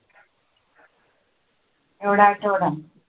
एवढा आठवडा.